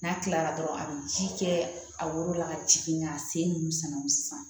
N'a kilara dɔrɔn a bɛ ji kɛ a woro la ka jigin ka sen nunnu sɛnɛ o sisan